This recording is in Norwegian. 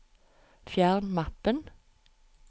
fjern mappen